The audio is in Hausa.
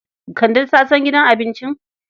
Kande ta san gidan abincin?